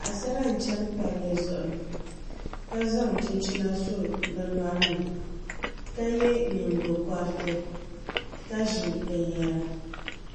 Paɣasara n chɛni palli zuɣu ka zaŋ chinchina so bi nyori ni ka yɛ nyingokoriti ka ʒi binyɛra